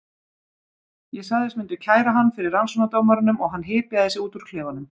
Ég sagðist myndu kæra hann fyrir rannsóknardómaranum og hann hypjaði sig út úr klefanum.